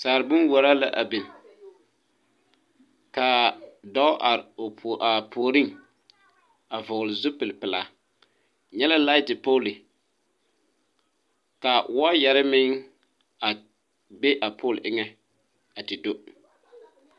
Sagre bonwuoraa la a biŋ kaa dɔɔ are a puoriŋ a vɔgle zupile pilaa nyɛ la laite poole ka wɔɔyarre meŋ a be a poolo eŋɛ a te do.